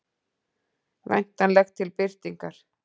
Væntanlegt til birtingar.